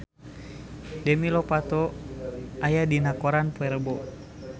Demi Lovato aya dina koran poe Rebo